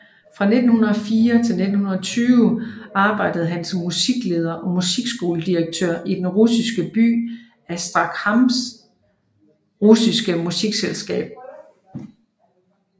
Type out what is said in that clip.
Fra 1904 til 1920 arbejdede han som musikleder og musikskoledirektør i den russiske by Astrakhans russiske musikselskab